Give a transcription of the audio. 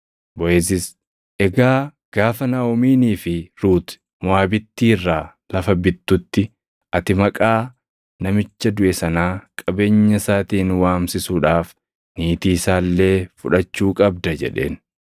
Boʼeezis, “Egaa gaafa Naaʼomiinii fi Ruuti Moʼaabittii irraa lafa bittutti ati maqaa namicha duʼe sanaa qabeenya isaatiin waamsisuudhaaf niitii isaa illee fudhachuu qabda” jedheen.